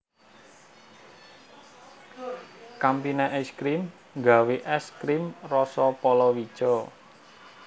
Campina Ice Cream nggawe es krim roso polowijo